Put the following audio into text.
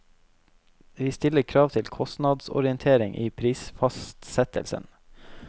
Vi stiller krav til kostnadsorientering i prisfastsettelsen.